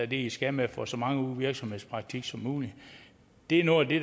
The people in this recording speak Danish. de skal med at få så mange virksomhedspraktik som muligt det er noget af det